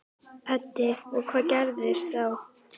Edda: Og hvað gerist þá?